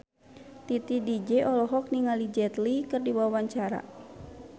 Titi DJ olohok ningali Jet Li keur diwawancara